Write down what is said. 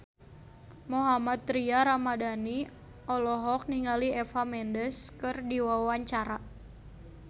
Mohammad Tria Ramadhani olohok ningali Eva Mendes keur diwawancara